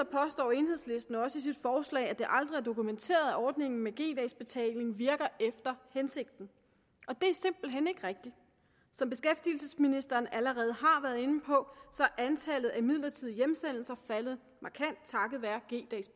påstår enhedslisten også i sit forslag at det aldrig er dokumenteret at ordningen med g dags betaling virker efter hensigten og det er simpelt hen ikke rigtigt som beskæftigelsesministeren allerede har været inde på er antallet af midlertidige hjemsendelser faldet markant takket være g dags